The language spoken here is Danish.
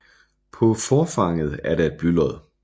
På forfanget er der et blylod